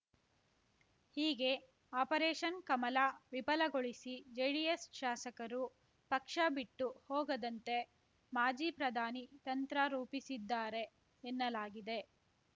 ಹೀಗೆ ಆಪರೇಷನ್‌ ಕಮಲ ವಿಫಲಗೊಳಿಸಿ ಜೆಡಿಎಸ್‌ ಶಾಸಕರು ಪಕ್ಷ ಬಿಟ್ಟು ಹೋಗದಂತೆ ಮಾಜಿ ಪ್ರಧಾನಿ ತಂತ್ರ ರೂಪಿಸಿದ್ದಾರೆ ಎನ್ನಲಾಗಿದೆ